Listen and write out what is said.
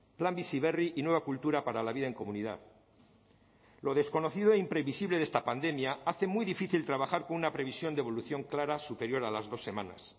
plan bizi berri y nueva cultura para la vida en comunidad lo desconocido e imprevisible de esta pandemia hace muy difícil trabajar con una previsión de evolución clara superior a las dos semanas